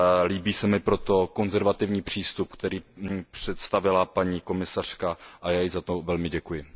Líbí se mi proto konzervativní přístup, který představila paní komisařka, a já jí za to velmi děkuji.